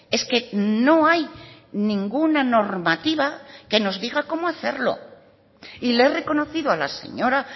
es que no hay ninguna normativa que nos diga cómo hacerlo y le he reconocido a la señora